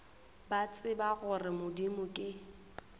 ba tseba gore modimo ke